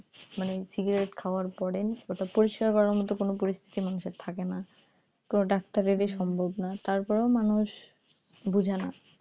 মানে cigarette খাওয়ার পরে ওটা পরিষ্কার করার মতো কোনো পরিস্থিতি মানুষের থাকে না কোন ডাক্তারেরই সম্ভব না তারপরেও মানুষ বুঝে না